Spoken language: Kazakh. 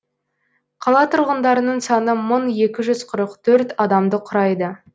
қала тұрғындарының саны мың екі жүз қырық төрт адамды құрайды